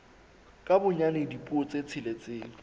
ka bonyane dipuo tse tsheletseng